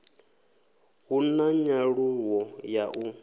hu na nyaluwo ya u